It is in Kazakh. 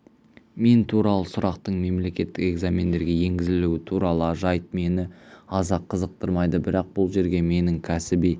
мен туралы сұрақтың мемлекеттік экзамендерге енгізілуі туралы жайт мені аса қызықтырмайды бірақ бұл жерге менің кәсіби